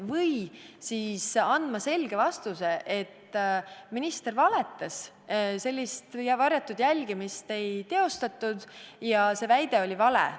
Või tuleb anda selge vastus, et minister valetas, varjatud jälgimist ei teostatud ja see väide oli vale.